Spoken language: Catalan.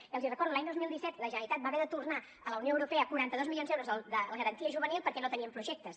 i els hi recordo l’any dos mil disset la generalitat va haver de tornar a la unió europea quaranta dos milions d’euros de la garantia juvenil perquè no tenien projectes